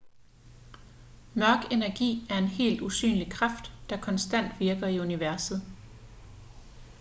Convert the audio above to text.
mørk energi er en helt usynlig kraft der konstant virker i universet